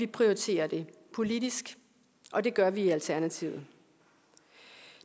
prioriterer det politisk og det gør vi i alternativet